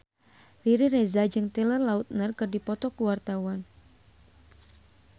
Riri Reza jeung Taylor Lautner keur dipoto ku wartawan